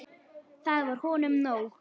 Það var honum nóg.